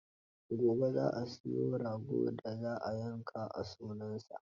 Gobe za a siyo ragon da za a yanka a sunansa.